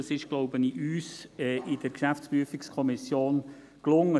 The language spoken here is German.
Ich glaube, dies ist uns in der GPK gelungen.